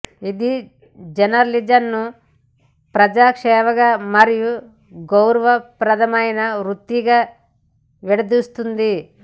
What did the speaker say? ఇది జర్నలిజంను ప్రజా సేవగా మరియు గౌరవప్రదమైన వృత్తిగా విడదీస్తుంది